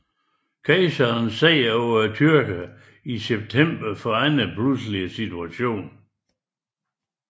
Kejserens sejr over tyrkerne i september forandrede pludselig situationen